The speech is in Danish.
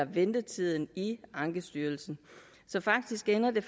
ventetiden i ankestyrelsen så faktisk ender det